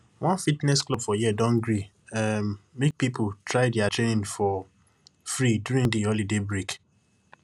one fitness club for here don gree um make people try their training for free during de holiday break